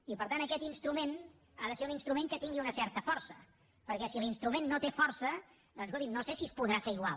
i per tant aquest instrument ha de ser un instrument que tingui una certa força perquè si l’instrument no té força doncs escolti’m no sé si es podrà fer igual